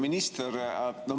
Hea minister!